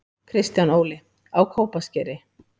Kristján Óli: Á Kópaskeri